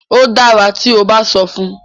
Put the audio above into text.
o dára tí o ba sọ fun.